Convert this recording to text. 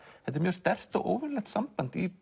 þetta er mjög sterkt og óvenjulegt samband í